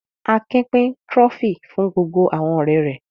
Akin pín Trophy fún gbogbo àwọn ọ̀rẹ́ rẹ̀.